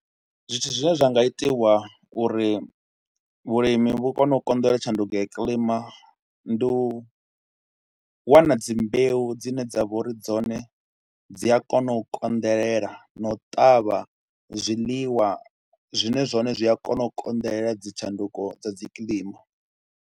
Zwithu zwine zwa nga itiwa uri vhulimi vhu kone u konḓelela tshanduko ya kilima ndi u wana dzi mbeu dzine dza vha uri dzone dzi a kona u konḓelela na u ṱavha zwiḽiwa zwine zwone zwi a kona u konḓelela dzi tshanduko dza dzi kilima.